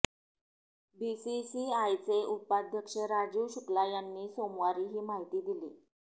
बीसीसीआयचे उपाध्यक्ष राजीव शुक्ला यांनी सोमवारी ही माहिती दिली